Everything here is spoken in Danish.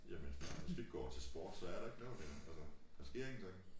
Jamen far hvis vi ikke går til sport så er der jo ikke noget her altså der sker ingenting